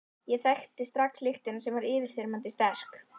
Ég þekkti strax lyktina sem var yfirþyrmandi sterk.